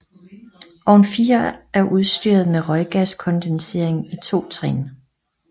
Ovn 4 er udstyret med røggaskondensering i 2 trin